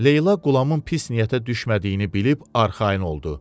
Leyla Qulamın pis niyyətə düşmədiyini bilib arxayın oldu.